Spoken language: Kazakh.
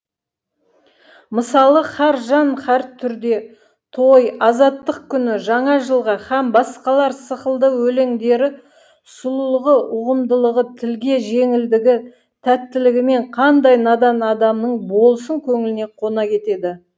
мысалы һәр жан һәртүрде той азаттық күні жаңа жылға һәм басқалар сықылды өлеңдері сұлулығы ұғымдылығы тілге жеңілдігі тәттілігімен қандай надан адамның болсын көңіліне қона кетеді